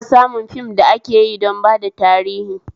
Ana samun fim da akeyi don bada tarihi